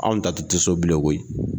Anw ta tɛ to so bilen koyi!